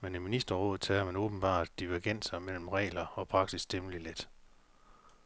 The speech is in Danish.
men i ministerrådet tager man åbenbart divergenser mellem regler og praksis temmelig let.